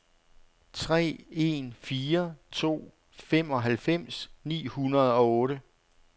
tre en fire to femoghalvfems ni hundrede og otte